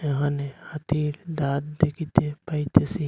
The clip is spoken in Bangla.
এখানে হাতির দাঁত দেখিতে পাইতেসি।